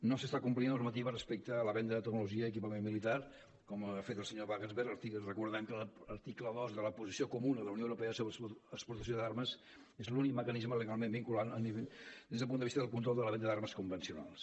no s’està complint la normativa respecte a la venda de tecnologia i equipament militar com ho ha fet el senyor wagensberg recordem que l’article dos de la posició comuna de la unió europea sobre exportació d’armes és l’únic mecanisme legalment vinculant des del punt de vista del control de la venda d’armes convencionals